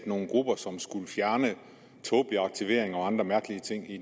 nogle grupper som skulle fjerne tåbelig aktivering og andre mærkelige ting i